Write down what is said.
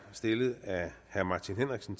stillet af herre martin henriksen